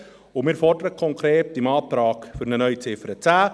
Konkret fordern wir mit dem Antrag für eine neue Ziffer 10: